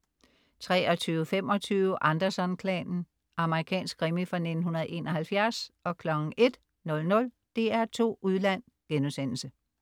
23.25 Anderson-klanen. Amerikansk krimi fra 1971 01.00 DR2 Udland*